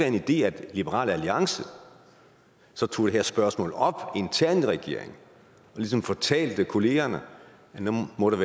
en idé at liberal alliance tog det her spørgsmål op internt i regeringen og ligesom fortalte kollegaerne at nu må der